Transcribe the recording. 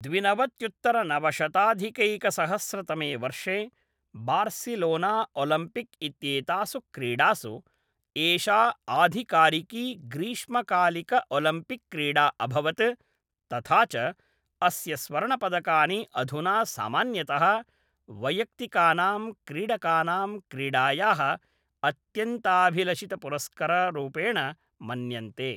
द्विनवत्युत्तनवशताधिकैकसहस्रतमे वर्षे बार्सिलोनाओलिम्पिक्इत्येतासु क्रीडासु एषा आधिकारिकी ग्रीष्मकालिक ऒलम्पिक् क्रीडा अभवत् तथा च अस्य स्वर्णपदकानि अधुना सामान्यतः वैयक्तिकानां क्रीडकानां क्रीडायाः अत्यन्ताभिलषितपुरस्कररूपेण मन्यन्ते।